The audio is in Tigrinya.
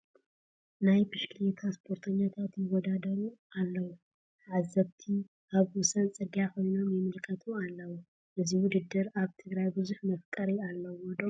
ናይ ብሽክሌታ ስፖርተኛታት ይወዳደሩ ኣለዉ፡፡ ተዓዘብቲ ኣብ ወሰን ፅርጊያ ኮይኖም ይምልከቱ ኣለዉ፡፡ እዚ ውድድር ኣብ ትግራይ ብዙሕ መፍቀሪ ኣለዎ ዶ?